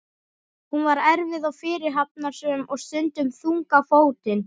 Hún var erfið og fyrirhafnarsöm og stundum þung á fótinn.